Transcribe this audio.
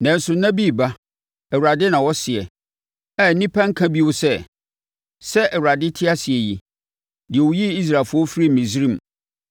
“Nanso nna no reba,” Awurade na ɔseɛ, “a nnipa renka bio sɛ, ‘Sɛ Awurade te ase yi, deɛ ɔyii Israelfoɔ firii Misraim,’